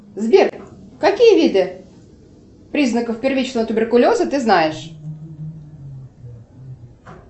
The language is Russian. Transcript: сбер какие виды признаков первичного туберкулеза ты знаешь